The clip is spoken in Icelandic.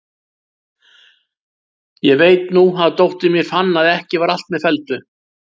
Ég veit nú að dóttir mín fann að ekki var allt með felldu.